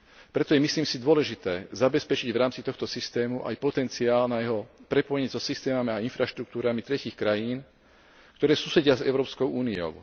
Preto je, myslím si, dôležité zabezpečiť v rámci tohto systému aj potenciál na jeho prepojenie so systémami a infraštruktúrami tretích krajín, ktoré susedia s Európskou úniou.